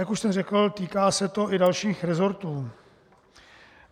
Jak už jsem řekl, týká se to i dalších resortů.